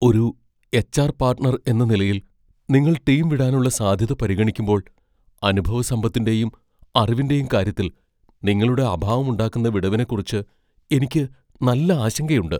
ഒരു HR. Partner എന്ന നിലയിൽ, നിങ്ങൾ ടീം വിടാനുള്ള സാധ്യത പരിഗണിക്കുമ്പോൾ, അനുഭവസമ്പത്തിന്റെയും അറിവിന്റെയും കാര്യത്തിൽ നിങ്ങളുടെ അഭാവം ഉണ്ടാക്കുന്ന വിടവിനെക്കുറിച്ച് എനിക്ക് നല്ല ആശങ്കയുണ്ട്.